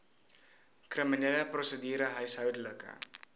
kriminele prosedure huishoudelike